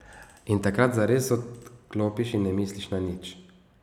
In takrat zares odklopiš in ne misliš na nič.